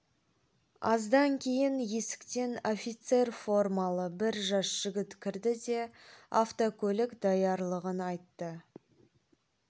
аздан кейін есіктен офицер формалы бір жас жігіт кірді де автокөлік даярлығын айтты